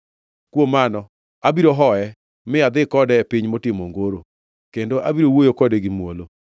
“Kuom mano abiro hoye, mi adhi kode e piny motimo ongoro, kendo abiro wuoyo kode gi muolo.